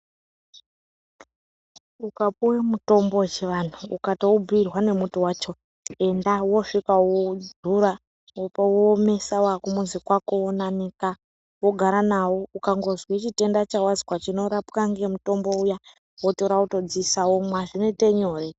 Ukapuwa mutombo wechivantu ukatobhuirwa nemuti wacho enda woosvika woudzura wouomesa wakumuzi kwako wounanika ukazwe chitenda chawazwa chinorapwa ngemutombo uya wototora wodziisa womwa zvinoite nyore.